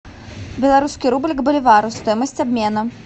белорусский рубль к боливару стоимость обмена